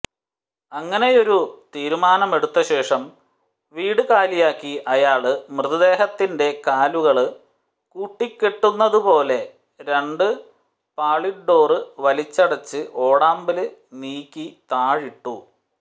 അങ്ങനെയൊരു തീരുമാനമെടുത്തശേഷം വീട് കാലിയാക്കി അയാള് മൃതദേഹത്തിന്റെ കാലുകള് കൂട്ടിക്കെട്ടുന്നതുപോലെ രണ്ടുപാളിഡോര് വലിച്ചടച്ച് ഓടാമ്പല് നീക്കി താഴിട്ടു